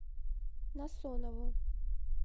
насонову